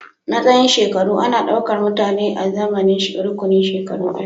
Matsayin shekaru ana ɗaukar mutane azaman rukunin shekaru ɗaya